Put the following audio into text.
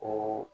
O